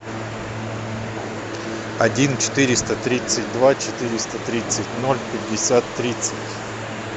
один четыреста тридцать два четыреста тридцать ноль пятьдесят тридцать